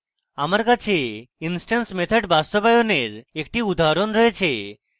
আমার কাছে instance methods বাস্তবায়নের একটি উদাহরণ রয়েছে